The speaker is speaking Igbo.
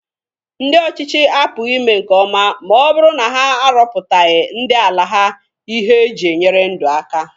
Ndị ọchịchị apụghi ime nkeọma ma ọ bụrụ na ha arọpụtaraghị ndị ala ha ihe e ji enyere ndụ aka.